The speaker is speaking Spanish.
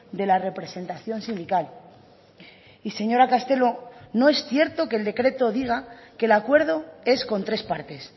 de la representación sindical y señora castelo no es cierto que el decreto diga que el acuerdo es con tres partes